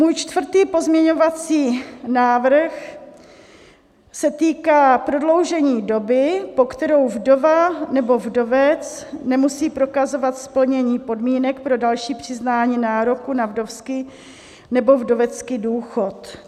Můj čtvrtý pozměňovací návrh se týká prodloužení doby, po kterou vdova nebo vdovec nemusí prokazovat splnění podmínek pro další přiznání nároku na vdovský nebo vdovecký důchod.